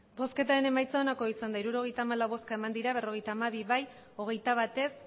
emandako botoak hirurogeita hamalau bai berrogeita hamabi ez hogeita bat